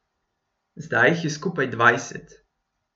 Zdaj jih je skupaj dvajset.